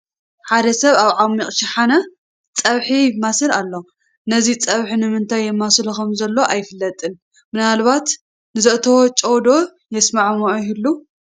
ሓደ ሰብ ኣብ ዓሚቕ ሸሓነ ፀብሒ የማስል ኣሎ፡፡ ነዚ ፀብሒ ንምንታይ የማስሎ ከምዘሎ ኣይፍለጥን፡፡ ምናልባት ንዘእተዎ ጨው ዶ የስማዕምዕ ይህሉ?